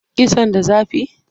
Kitson da zafi?